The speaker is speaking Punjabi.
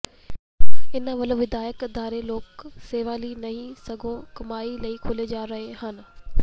ਇਨ੍ਹਾਂ ਵੱਲੋਂ ਵਿਦਿਅਕ ਅਦਾਰੇ ਲੋਕ ਸੇਵਾ ਲਈ ਨਹੀਂ ਸਗੋਂ ਕਮਾਈ ਲਈ ਖੋਲ੍ਹੇ ਜਾ ਰਹੇ ਹਨ